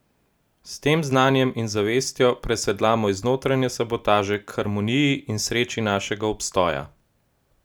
S tem znanjem in zavestjo presedlamo iz notranje sabotaže k harmoniji in sreči našega obstoja.